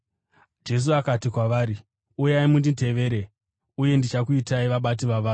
Jesu akati kwavari, “Uyai munditevere, uye ndichakuitai vabati vavanhu.”